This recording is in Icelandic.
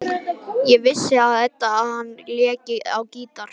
Ekki vissi Edda að hann léki á gítar.